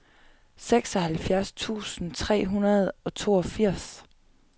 seksoghalvfjerds tusind tre hundrede og toogfirs